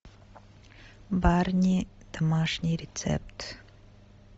барни домашний рецепт